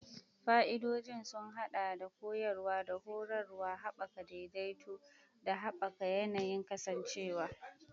Fa'idodin sun haɗa da koyarwa da horarwa, haɓaka daidaito, da haɓaka yanayin kasancewa.